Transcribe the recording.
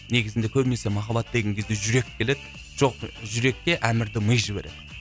негізінде көбінесе махаббат деген кезде жүрек келеді жоқ жүрекке әмірді ми жібереді